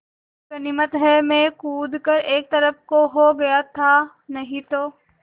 गनीमत है मैं कूद कर एक तरफ़ को हो गया था नहीं तो